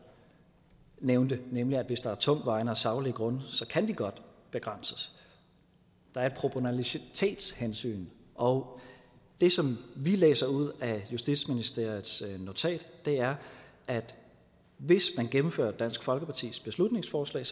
nævnte nemlig at hvis der er tungtvejende og saglige grunde så kan de godt begrænses der er et proportionalitetshensyn og det som vi læser ud af justitsministeriets notat er at hvis man gennemfører dansk folkepartis beslutningsforslag